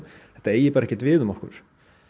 þetta eigi bara ekkert við um okkur